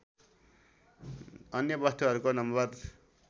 अन्य वस्तुहरूको नम्बर